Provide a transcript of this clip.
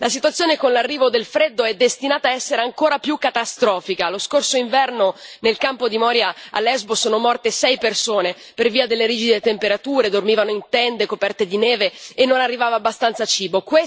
La situazione, con l'arrivo del freddo, è destinata a essere ancora più catastrofica. Lo scorso inverno, nel campo di Moria a Lesbos sono morte sei persone per via delle rigide temperature, dormivano in tende coperte di neve e non arrivava abbastanza cibo.